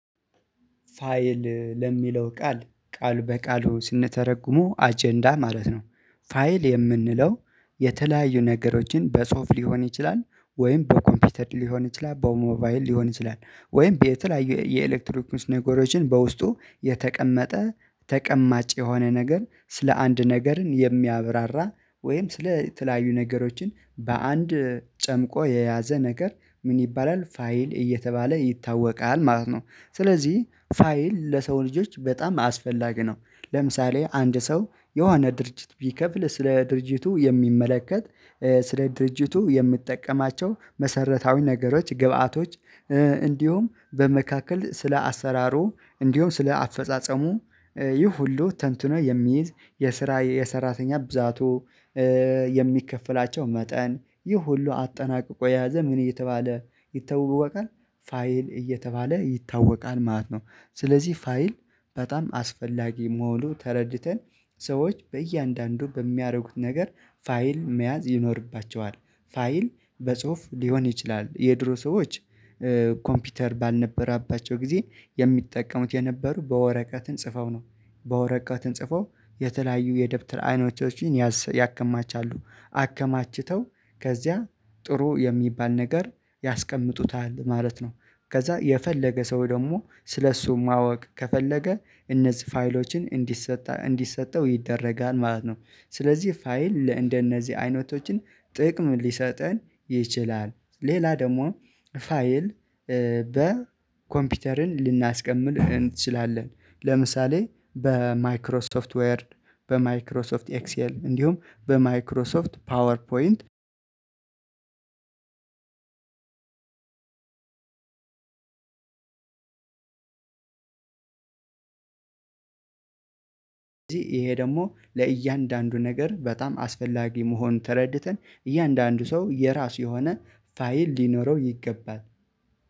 ፋይል ለሚለው ቃል ቃል በቃሉ ስንተረጉው አጀንዳ ማለት ነው። ፋይል የምንለው የተለያዩ ነገሮችን በጽሁፍ ሊሆን ይችላል ወይም በኮምፒተር ሊሆን ይችላል በሞባይል ሊሆን ይችላል ወይም ቤተላይየ የኤሌክትሮኒክስ ነገሮችን በውስጡ የተቀመጠ ተቀማጭ የሆነ ነገር ስለ አንድ ነገርን የሚያብራራ ወይም ስለ ተለያዩ ነገሮችን በአንድ የተለያዩ ነገሮችን በጽሁፍ ሊሆን ይችላል ወይም በኮምፒተር ሊሆን ይችላል በሞባይል ሊሆን ይችላል ወይም ቤተላያየ የኤሌክትሮኒክስ ነገሮችን በውስጡ የተቀመጠ ተቀማጭ የሆነ ነገር ስለ አንድ ነገርን የሚያብራራ ወይም ስለ ተለያዩ ነገሮችን በአንድ ስለዚህ ፋይል ለሰው ልጆች በጣም አስፈላጊ ነው። ለምሳሌ አንድ ሰው የሆና ድርጅት ቢከፍል ስለ ድርጅቱ የሚመለከት ስለ ድርጅቱ የሚጠቀማቸው መሰረታዊ ነገሮች ግብአቶች እንዲሁም በመካከል ስለ አሰራሩ እንዲሁም ስለ አፈጻጸሙ ይህ ሁሉ ተንትኖ የሚይዝ የስራ የሰራተኛ ብዛቱ የሚከፈላቸው መጠን ይህ ሁሉ አጠናቅቆ የያዘ ምን እየተባለ ይታወወቃል። ፋይል እየተባለ ይታወቃል ማለት ነው። ስለዚህ ፋይል በጣም አስፈላጊ መሆኑ ተረድተን ሰዎች በእያንዳንዱ በሚያደረጉት ነገር ፋይል መያዝ ይኖርባቸዋል። ፋይል በጽሁፍ ሊሆን ይችላል የድሮ ሰዎች ኮምፒውተር ባልነበራባቸው ጊዜ የሚጠቀሙት የነበሩ በወረቀትን ጽፈው ነው በወረቀትን ጽፈው የተለያዩ የደብተር አይኖቶችን ያከማቻሉ አከማችተው ከዚያ ጥሩ የሚባል ነገር ያስቀምጡታል ማለት ነው። ከዛ የፈለገ ሰው ደግሞ ስለእሱ ማወቅ ከፈለገ እነዚህ ፋይሎችን እንዲሰጥ እንዲሰጠው ይደረጋል ማለት ነው። ስለዚህ ፋይል እንደነዚህ አይነቶችን ጥቅም ሊሰጠን ይችላል። ሌላ ደግሞ ፋይል በኮምፒውተርን ልናስቀምል እንችላለን ለምሳሌ በማይክሮ ሶፍትዌር በማይክሮ ሶፍት ኤክስኤል እንዲሁም በማይክሮ ሶፍት ፓወር ፖይንት። ስለዚህ ይሄ ደግሞ ለእያንዳንዱ ነገር በጣም አስፈላጊ መሆን ተረድተን እያንዳንዱ ሰው የራሱ የሆነ ፋይል ሊኖረው ይገባል